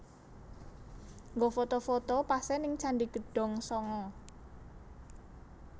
Nggo foto foto pase ning Candi Gedong Sanga